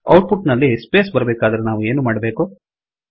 out ಪುಟ್ ನಲ್ಲಿ space ಬೇಕಾದರೆ ನಾವು ಎನು ಮಾಡಬೇಕು